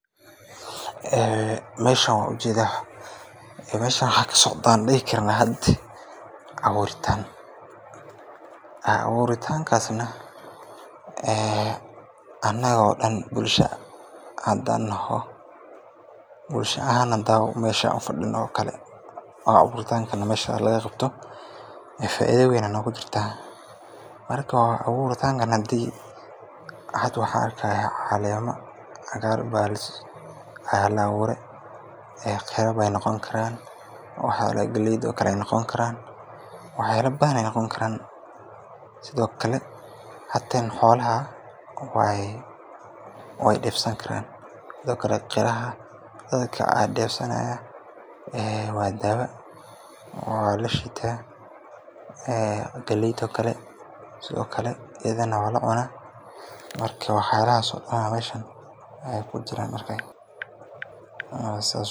Meeshan waan ujeeda, waxaa kasocdaa aan dihi karaa abuuritaan, hadaan bulsho naho, faaido weyn ayaa noogu jirtaa, caleema ayaa la abuure, galeey ayeey noqoni karaan, xoolaha xitaa weey deefsan karaan, qiraha waa daawa waa lashiita, waa lacunaa.